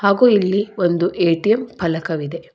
ಹಾಗು ಇಲ್ಲಿ ಒಂದು ಎ_ಟಿ_ಎಂ ಪಲಕವಿದೆ.